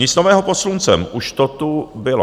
Nic nového pod sluncem, už to tu bylo.